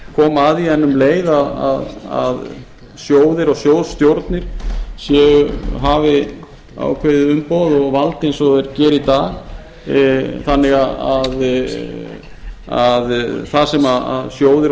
koma að því en um leið að sjóðir og sjóðsstjórnir hafi ákveði umboð og vald eins og þeir gera í dag þannig að það sem sjóðir